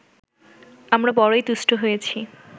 আমরা বড়ই তুষ্ট হয়েছি